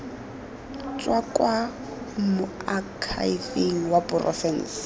tswa kwa moakhaefeng wa porofense